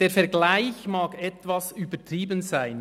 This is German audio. Der Vergleich mag etwas übertrieben sein.